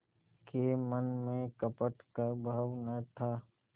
के मन में कपट का भाव न था